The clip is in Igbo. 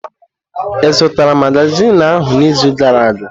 Ị zụtara magazin ahụ n'izu gara aga?